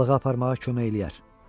Balığı aparmağa kömək eləyər.